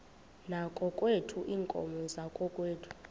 yakokwethu iinkomo zakokwethu